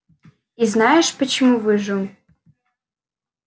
и знаешь почему выжил